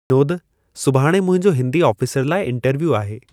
विनोदु: सुभाणे मुंहिंजो हिंदी आफ़ीसर लाइ इंटरव्यू आहे।